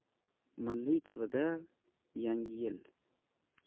Milliy TV’da yangi yil!.